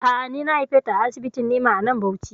A'a, ni na haife ta a asibitin Ni'ima a nan Bauchi